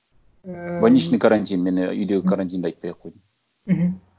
ыыы больничный карантин мен і үйдегі карантинді айтпай ақ қояйын мхм